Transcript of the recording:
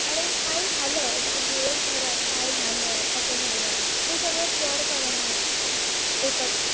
अरे काय झालं आज दिवसभरात काय झालं ते सगळ शेअर करणा एकत्र